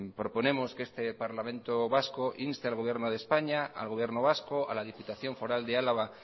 proponemos que este parlamento vasco inste al gobierno de españa al gobierno vasco a la diputación foral de álava